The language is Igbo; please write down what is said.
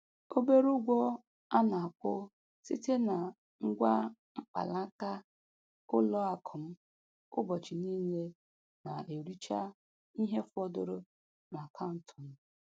Obere ụgwọ a na-akwụ site na ngwa mkpanaka ụlọ akụ m ụbọchị niile na-ericha ihe fọdụrụ n'akaụntụ m.